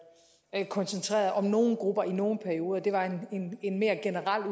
koncentreret om nogle grupper i nogle perioder det var en mere generel